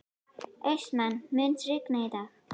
Austmann, mun rigna í dag?